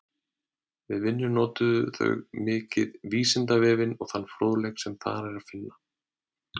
Við vinnuna notuðu þau mikið Vísindavefinn og þann fróðleik sem þar er að finna.